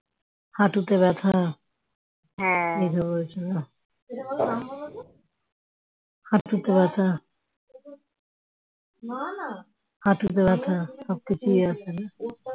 হাটুতে ব্যাথা হাটুতে ব্যাথা হাটুতে ব্যাথা